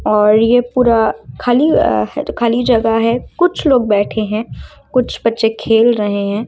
और ये पूरा खाली जगह है कुछ लोग बैठे हैं कुछ बच्चे खेल रहे हैं।